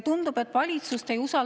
Tundub, et valitsust ei usalda ka …